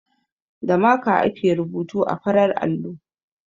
Da maka ake rubutu a farar allo.